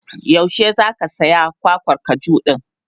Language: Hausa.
Yaushe za ka saya kwakwar kaju din?